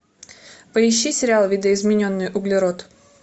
поищи сериал видоизмененный углерод